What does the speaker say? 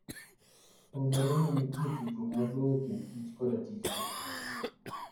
Ong'ere ni nitie tudruok maduong' e kind kich koda tijgi.